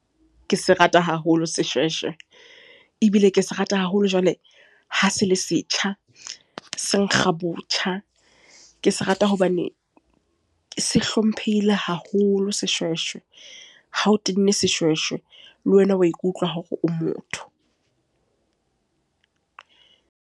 Ke se rata haholo seshweshwe. Ebile ke se rata haholo jwale, ha se le setjha, se nkga botjha. Ke se rata hobane, se hlomphehile haholo seshweshwe. Ha o tenne seshweshwe, le wena wa ikutlwa hore o motho.